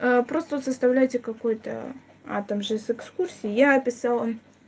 просто вот составляйте какой-то а также экскурсия писала